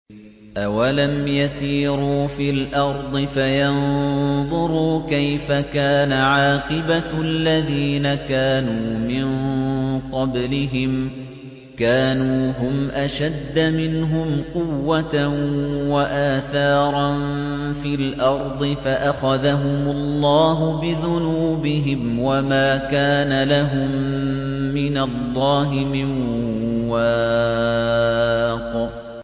۞ أَوَلَمْ يَسِيرُوا فِي الْأَرْضِ فَيَنظُرُوا كَيْفَ كَانَ عَاقِبَةُ الَّذِينَ كَانُوا مِن قَبْلِهِمْ ۚ كَانُوا هُمْ أَشَدَّ مِنْهُمْ قُوَّةً وَآثَارًا فِي الْأَرْضِ فَأَخَذَهُمُ اللَّهُ بِذُنُوبِهِمْ وَمَا كَانَ لَهُم مِّنَ اللَّهِ مِن وَاقٍ